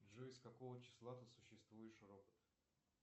джой с какого числа ты существуешь робот